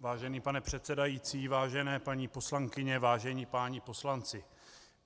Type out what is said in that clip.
Vážený pane předsedající, vážené paní poslankyně, vážení páni poslanci,